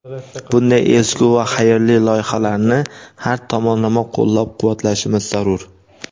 Bunday ezgu va xayrli loyihalarni har tomonlama qo‘llab-quvvatlashimiz zarur.